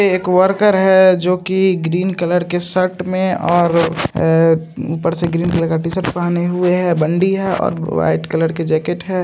एक वर्कर है जो की ग्रीन कलर के शर्ट में और अ ऊपर से ग्रीन कलर का टी शर्ट पहने हुए है बंदी है और वाइट कलर के जैकेट है।